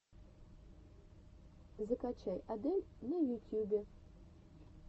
закачай адель на ютьюбе